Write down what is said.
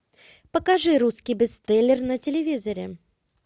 покажи русский бестселлер на телевизоре